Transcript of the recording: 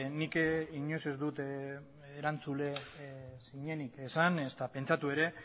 nik inoiz ez dut erantzule zinenik esan ezta pentsatu ere